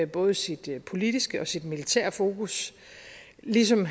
både sit politiske og sit militære fokus ligesom